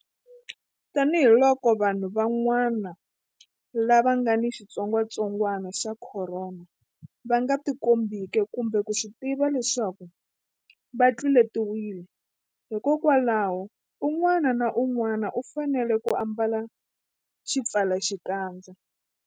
Tanihiloko vanhu van'wana lava nga ni xitsongwantsongwana xa Khorona va nga tikombeki kumbe ku swi tiva leswaku va tluletiwile, hikwalaho un'wana na un'wana u fanele ku ambala xipfalaxikandza.